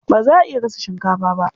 Ba za a iya gasa shinkafa ba.